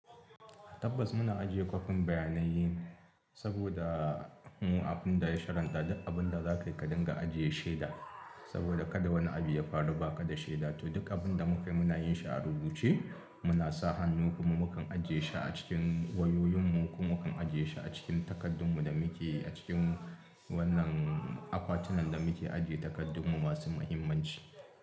Tabbas muna ajiye kwafin bayanai saboda mu, abin da ya shari'anta duk abin da za ka dinga ajiye shaida. Saboda kada wani abu ya faru ba ka da shaida, to duk abin da muke yi muna yin shi a rubuce. Muna sa hannu kuma mukan ajiye shi a cikin wayoyin mu ko mukan ajiye shi a cikin takardun mu da muke a cikin wannan akwatunan da muke ajiye takardunmu masu mahimmanci.